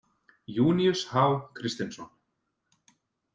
Júníus H Kristinsson.